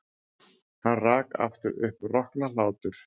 Hann rak aftur upp roknahlátur.